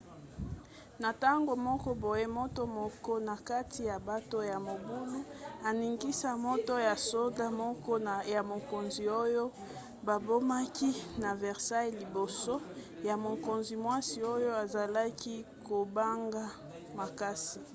na ntango moko boye moto moko na kati ya bato ya mobulu aningisaki moto ya soda moko ya mokonzi oyo babomaki na versailles liboso ya mokonzi-mwasi oyo azalaki kobanga makasi